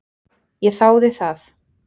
Ég þáði það.